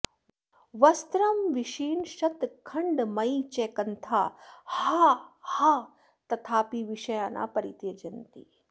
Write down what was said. वस्त्रं विशीर्णशतखण्डमयी च कन्था हा हा तथापि विषया न परित्यजन्ति